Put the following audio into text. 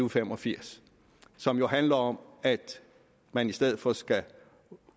og fem og firs og som jo handler om at man i stedet for skal